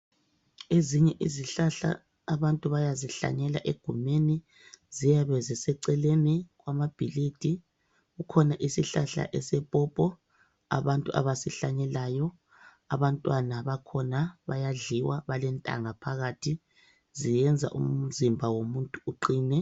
Ezinye izihlahla abantu bayazihlanyela egumeni. Ziyabe ziseceleni kwamabhilidi kukhona isihlahla esepopo abantu abasihlanyelayo, abantwana bakhona bayadliwa balentanga phakathi ziyenza umzimba uqine.